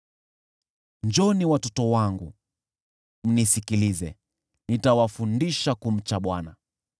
Njooni, watoto wangu, mnisikilize, nitawafundisha kumcha Bwana .